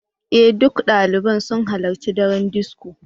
Ee, duk ɗaliban sun halarci daren disco.